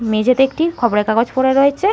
মেঝেতে একটি খবরের কাগজ পড়ে রয়েছে।